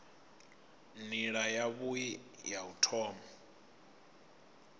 nila yavhui ya u thoma